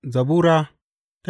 Zabura Sura